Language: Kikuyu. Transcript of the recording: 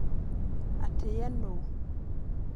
Atĩ ye nũ.